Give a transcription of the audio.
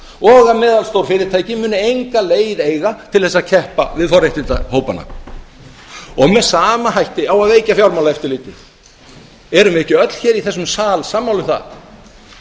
og að meðalstór fyrirtæki muni enga leið eiga til þess að keppa við forréttindahópana með sama hætt á að veikja fjármálaeftirlitið erum við ekki öll hér í þessum sal sammála um það